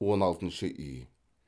он алтыншы үй